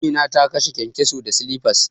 Amina ta kashe kyankyaso da silifas.